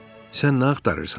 "Sən nə axtarırsan?"